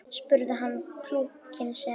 spurði hann túlkinn sinn.